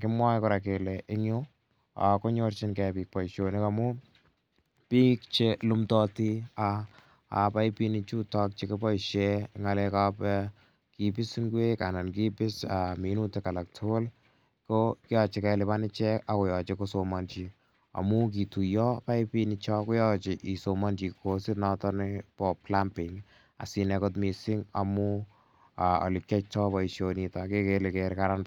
Kimwae kora kole eng' ko nyorchingei piik poishonik amu piik che lumdaati paipinichutachu kipoishen eng' nga'lek ap kipisi ngwek anan ko kipisi minutik alak tugul ko yache kelipan ichek ak koyache kosomanchi amu kituyapaipinicho ko yache kosomanchi kosit nepo plumbing asiinai kot missing' amu ole kiyaitai poishonitok ke kere kele kararan.